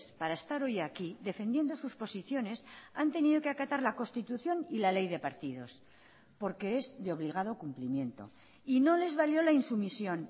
para estar hoy aquí defendiendo sus posiciones han tenido que acatar la constitución y la ley de partidos porque es de obligado cumplimiento y no les valió la insumisión